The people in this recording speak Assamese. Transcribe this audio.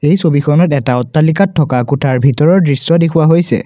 এই ছবিখনত এটা অট্টালিকাত থকা কোঠাৰ ভিতৰৰ দৃশ্য দেখুওৱা হৈছে।